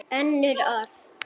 Önnur orð.